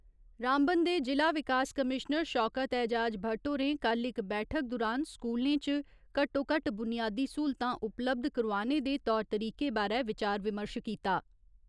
रामबन दे जि'ला विकास कमीश्नर शौकत एजाज भट्ट होरें कल्ल इक बैठक दुरान स्कूलें च घट्टो घट्ट बुनियादी सहूलतां उपलब्ध करोआने दे तौर तरीके बारै विचार विमर्श कीता।